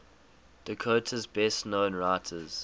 dakota's best known writers